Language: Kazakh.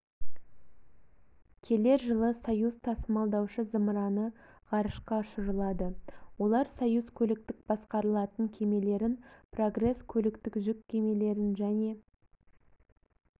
келер жылы союз тасымалдаушы-зымыраны ғарышқа ұшырылады олар союз көліктік басқарылатын кемелерін прогресс көліктік жүк кемелерін және